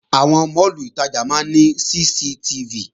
Àwọn máàlù ìtajà máa ní CCTV